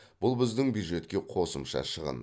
бұл біздің бюджетке қосымша шығын